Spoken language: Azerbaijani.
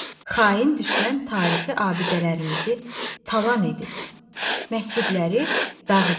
Xain düşmən tarixi abidələrimizi talan edib, məscidləri dağıdıb.